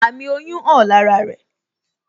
Àmì oyún hàn lára rẹ